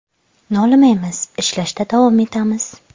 Nolimaymiz, ishlashda davom etamiz.